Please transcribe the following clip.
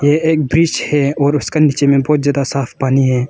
ये एक ब्रिज है और उसका नीचे में बहुत ज्यादा साफ पानी है।